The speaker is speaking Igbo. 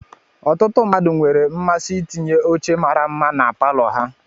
Ọtụtụ mmadụ nwere mmasị itinye oche mara mma na palọ ha.